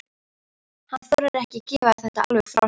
Hann þorir ekki að gefa þetta alveg frá sér.